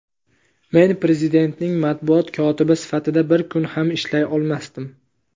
men Prezidentning matbuot kotibi sifatida bir kun ham ishlay olmasdim.